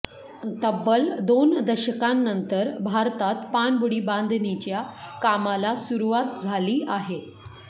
तब्बल दोन दशकांनंतर भारतात पाणबुडी बांधणीच्या कामाला सुरुवात झाली आहे